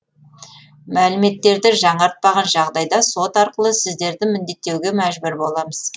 мәліметтерді жаңартпаған жағдайда сот арқылы сіздерді міндеттеуге мәжбүр боламыз